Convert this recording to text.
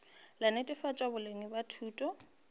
la netefatšo boleng bja thuto